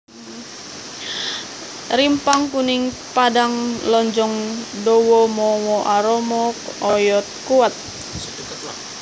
Rimpang kuning padhang lonjong dawa mawa aroma oyod kuwat